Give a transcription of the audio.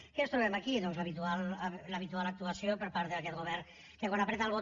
què ens trobem aquí doncs l’habitual actuació per part d’aquest govern que quan pitja